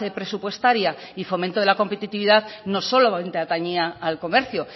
presupuestaria y fomento de la competitividad no solamente atañía al comercio